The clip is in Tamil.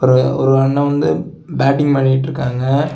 ஒரு ஒரு அண்ணன் வந்து பேட்டிங் பண்ணிட்டு இருக்காங்க.